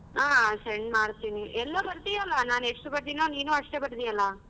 ಆ send ಮಾಡ್ತೀನಿ ಎಲ್ಲ ಬರ್ದಿಯಲ್ಲ ನಾನ್ ಎಷ್ಟ್ ಬರ್ದಿನೋ ಅಷ್ಟ್ ಬರ್ದಿಯಲ್ಲ?